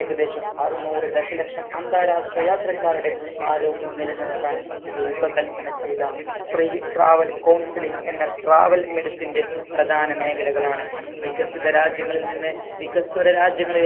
ഏകദേശം അറുന്നൂർ ദശലക്ഷം അന്താരാഷ്ട്ര യാത്രക്കാരുടെ ആരോഗ്യം നിലനിർത്താൻ രൂപ കല്പന ചെയ്ത pre travel counselling എന്ന travel medicine ന്റെ പ്രധാന മേഖലകളാണ് വികസിത രാജ്യങ്ങളിൽ നിന്ന് വികസ്വര രാജ്യങ്ങളി